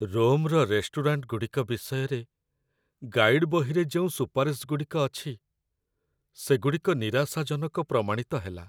ରୋମ୍‌ର ରେଷ୍ଟୁରାଣ୍ଟଗୁଡ଼ିକ ବିଷୟରେ ଗାଇଡ ବହିରେ ଯେଉଁ ସୁପାରିଶଗୁଡ଼ିକ ଅଛି, ସେଗୁଡ଼ିକ ନିରାଶାଜନକ ପ୍ରମାଣିତ ହେଲା।